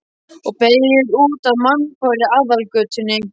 Og beygir út af mannfárri aðalgötunni.